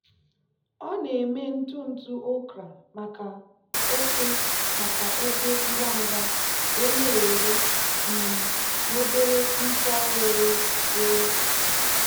ọ na-eme ntụ ntụ okra maka ofe maka ofe ngwa ngwa wee na-ere um n'obere mkpọ were were.